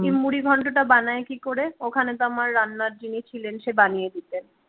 মুড়ি ঘন্ট টা বানায় কি করে ওখানে তো আমার রান্নার যিনি ছিলেন সে বানিয়ে দিত